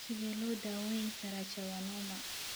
Sidee loo daweyn karaa schwannoma?